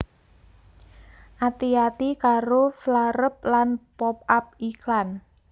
Ati ati karo flareup lan pop up iklan